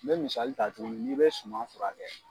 N bɛ misali ta tuguni n'i bɛ suman fura kɛ.